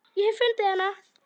Ég hef fundið hana.